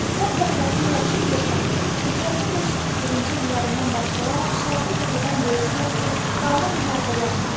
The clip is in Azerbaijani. Sən Fəxrəddin yaxşı bilirsən ki, hicrətin 541-ci illərindən başlayaraq şərqi təzədən bölüşmək üçün qanlı müharibələr gedir.